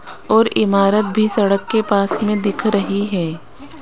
और इमारत भी सड़क के पास में दिख रही है।